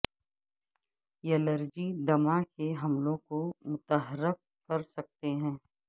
allergy دمہ کے حملوں کو متحرک کر سکتے ہیں